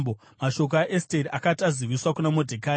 Mashoko aEsteri akati aziviswa kuna Modhekai,